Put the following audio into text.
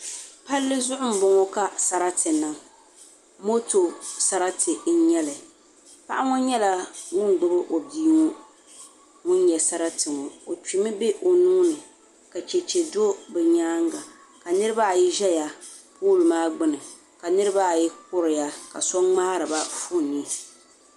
Palli zuɣu n boŋo ka sarati niŋ moto sarati n nyɛli paɣa ŋo nyɛla ŋun gbubi o bia ŋun nyɛ sarati ŋo o kpimi bɛ o nuuni ka chɛchɛ do o nyaanga ka niraba ayi ʒɛya loori maa gbuni ka niraba ayi kuriya ka so ŋmaariba foon ni